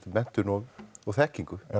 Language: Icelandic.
menntun og þekkingu